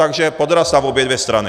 Takže podraz na obě dvě strany.